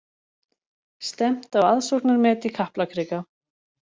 Stefnt á aðsóknarmet í Kaplakrika